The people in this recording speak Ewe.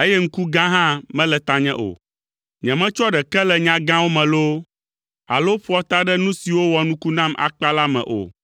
eye ŋku gã hã mele tanye o. Nyemetsɔa ɖeke le nya gãwo me loo, alo ƒoa ta ɖe nu siwo wɔ nuku nam akpa la me o,